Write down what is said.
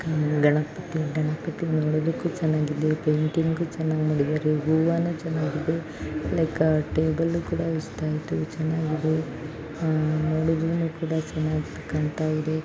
ಇದು ಗಣಪತಿ ಗಣಪತಿ ನೋಡಲಿಕ್ಕೆ ಚೆನ್ನಾಗಿದೆ ಪೇಯಿಟಿಂಗ್‌ ಚೆನ್ನಾಗಿ ಮಾಡಿದ್ದಾರೆ ಹೂವು ಚೆನ್ನಾಗಿದೆ ಲೈಕ್‌ ಟೇಬಲ್‌ ಕೂಡ ಇಷ್ಟ ಆಯಿತು ಚೆನ್ನಾಗಿದೆ ನೊಡಲಿಕ್ಕೂ ಚೆನ್ನಾಗಿದೆ